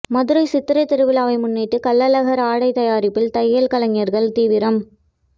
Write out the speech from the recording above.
மதுரை சித்திரை திருவிழாவை முன்னிட்டு கள்ளழகர் ஆடை தயாரிப்பில் தையல் கலைஞர்கள் தீவிரம்